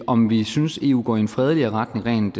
om vi synes eu går i en fredeligere retning rent